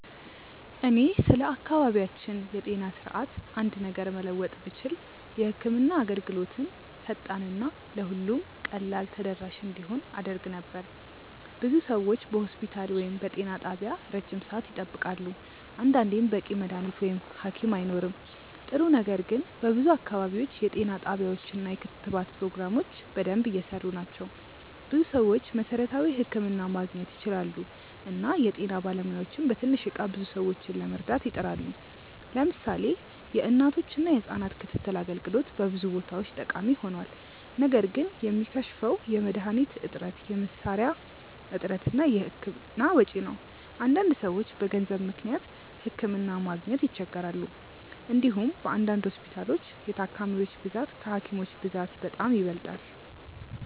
እኔ ስለ አካባቢያችን የጤና ስርዓት አንድ ነገር መለወጥ ብችል የህክምና አገልግሎትን ፈጣን እና ለሁሉም ቀላል ተደራሽ እንዲሆን አደርግ ነበር። ብዙ ሰዎች በሆስፒታል ወይም በጤና ጣቢያ ረጅም ሰዓት ይጠብቃሉ፣ አንዳንዴም በቂ መድሀኒት ወይም ሀኪም አይኖርም። ጥሩ ነገር ግን በብዙ አካባቢዎች የጤና ጣቢያዎች እና የክትባት ፕሮግራሞች በደንብ እየሰሩ ናቸው። ብዙ ሰዎች መሠረታዊ ሕክምና ማግኘት ይችላሉ እና የጤና ባለሙያዎችም በትንሽ እቃ ብዙ ሰዎችን ለመርዳት ይጥራሉ። ለምሳሌ የእናቶችና የህጻናት ክትትል አገልግሎት በብዙ ቦታዎች ጠቃሚ ሆኗል። ነገር ግን የሚከሽፈው የመድሀኒት እጥረት፣ የመሳሪያ እጥረት እና የህክምና ወጪ ነው። አንዳንድ ሰዎች በገንዘብ ምክንያት ሕክምና ማግኘት ይቸገራሉ። እንዲሁም በአንዳንድ ሆስፒታሎች የታካሚዎች ብዛት ከሀኪሞች ብዛት በጣም ይበልጣል።